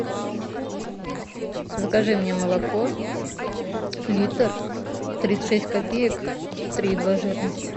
закажи мне молоко литр тридцать шесть копеек три и два жирность